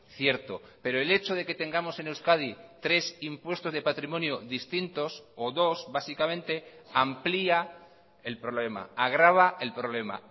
cierto pero el hecho de que tengamos en euskadi tres impuestos de patrimonio distintos o dos básicamente amplia el problema agrava el problema